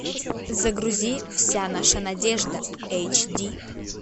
загрузи вся наша надежда эйджди